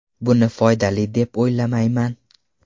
Buni foydali deb o‘ylamayman.